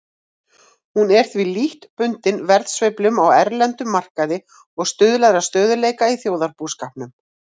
Hún er því lítt bundin verðsveiflum á erlendum markaði og stuðlar að stöðugleika í þjóðarbúskapnum.